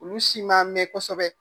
Olu si m'a mɛn kosɛbɛ